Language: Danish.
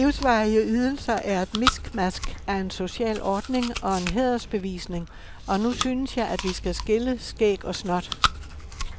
De livsvarige ydelser er et miskmask af en social ordning og en hædersbevisning, og nu synes jeg, at vi skal skille skæg og snot.